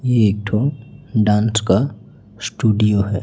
ये एक ठो डांस का स्टूडियो है।